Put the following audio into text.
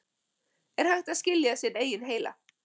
Er hægt að skilja sinn eigin heila?